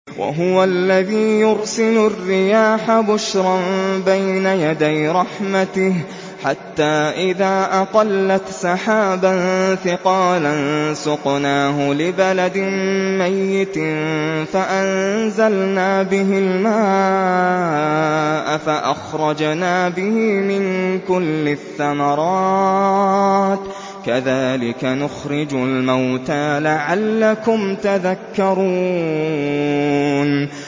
وَهُوَ الَّذِي يُرْسِلُ الرِّيَاحَ بُشْرًا بَيْنَ يَدَيْ رَحْمَتِهِ ۖ حَتَّىٰ إِذَا أَقَلَّتْ سَحَابًا ثِقَالًا سُقْنَاهُ لِبَلَدٍ مَّيِّتٍ فَأَنزَلْنَا بِهِ الْمَاءَ فَأَخْرَجْنَا بِهِ مِن كُلِّ الثَّمَرَاتِ ۚ كَذَٰلِكَ نُخْرِجُ الْمَوْتَىٰ لَعَلَّكُمْ تَذَكَّرُونَ